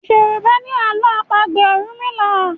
Yorùbá ni àlọ́ àpagbè orunmila.